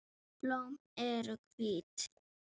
Blóm eru hvít.